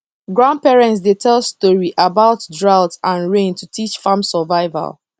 grandparents dey tell story about drought and rain to teach farm survival